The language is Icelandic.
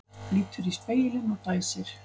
Lítur í spegilinn og dæsir.